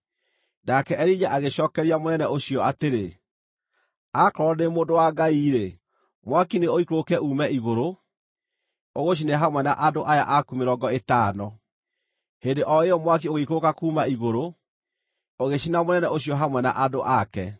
Nake Elija agĩcookeria mũnene ũcio atĩrĩ, “Akorwo ndĩ mũndũ wa Ngai-rĩ, mwaki nĩũikũrũke uume igũrũ, ũgũcine hamwe na andũ aya aku mĩrongo ĩtano!” Hĩndĩ o ĩyo mwaki ũgĩikũrũka kuuma igũrũ, ũgĩcina mũnene ũcio hamwe na andũ ake.